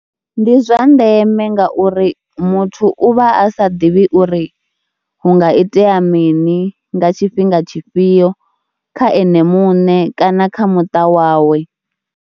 Ndi zwa ndeme ngauri muthu u vha a sa ḓivhi uri hu nga itea mini nga tshifhinga tshifhio kha ene muṋe kana kha muṱa wawe.